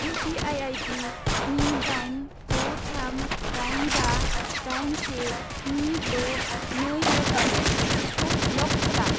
U P I I D स्नि दाइन द' थाम दाइन बा दाइन से स्नि द' नै एट दा रेट एक्सिसखौ ब्लक खालाम।